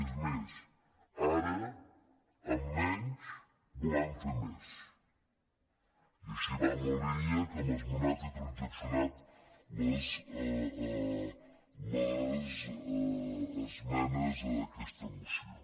és més ara amb menys volem fer més i així va la línia amb què hem esmenat i transaccionat les esmenes a aquesta moció